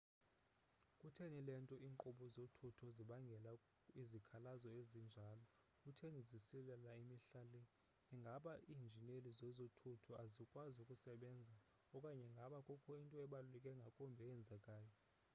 kutheni le nto iinkqubo zothutho zibangela izikhalazo ezinjalo kutheni zisilela mihla le ingaba iinjineli zezothutho azikwazi ukusebenza okanye ingaba kukho into ebaluleke ngakumbi eyenzekayo